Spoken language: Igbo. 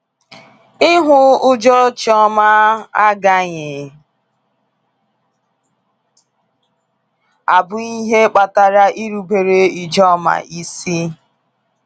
Ịhụ ụjọ Chioma agaghị abụ ihe kpatara irubere Ijoma isi.